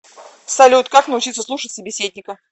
салют как научиться слушать собеседника